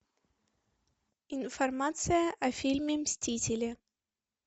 информация о фильме мстители